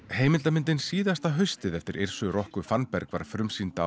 heimildarmyndin síðasta haustið eftir Yrsu Rocu Fannberg var frumsýnd